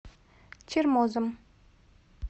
чермозом